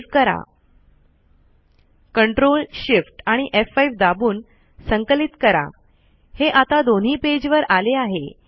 save करा ctrl shift आणि F five दाबून संकलित करा हे आता दोन्ही पेज वर आले आहे